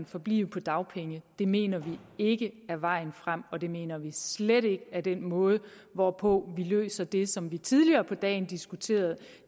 forblive på dagpenge det mener vi ikke er vejen frem og det mener vi slet ikke er den måde hvorpå vi løser det problem som vi tidligere på dagen diskuterede